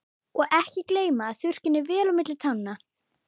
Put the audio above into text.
Og ekki gleyma að þurrka henni vel á milli tánna.